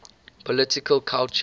political culture